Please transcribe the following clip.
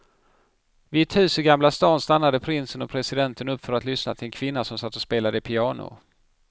Vid ett hus i gamla stan stannade prinsen och presidenten upp för att lyssna till en kvinna som satt och spelade piano.